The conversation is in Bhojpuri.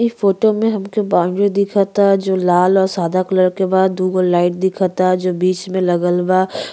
इ फोटो में हमके बाउंड्री दिखता जो लाल और सादा कलर के बा। दुगो लाइट दिखता जो बीच में लगल बा।